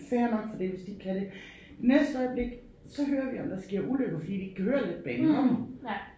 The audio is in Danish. Fair nok for det hvis de ikke kan det. Næste øjeblik så hører vi om der sker ulykker fordi de ikke kan høre letbanen kommer